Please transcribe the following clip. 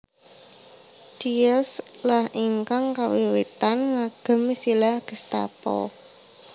Diels lah ingkang kawiwitan ngagem istilah Gestapo